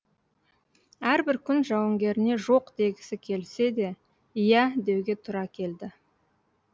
әрбір күн жауынгеріне жоқ дегісі келсе де иә деуге тура келді